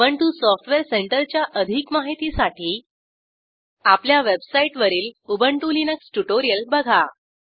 Ubuntu software सेंटरच्या अधिक माहितीसाठी आपल्या वेबसाईटवरील उबंटु लिनक्स ट्युटोरियल बघा